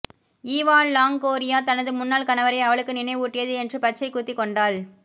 Eva Longoria தனது முன்னாள் கணவரை அவளுக்கு நினைவூட்டியது என்று பச்சை குத்திக் கொண்டாள்